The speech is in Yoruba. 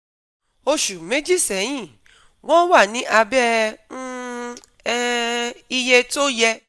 Oṣù méjì sẹ́yìn, wọ́n wà ní abẹ́ um um iye tó yẹ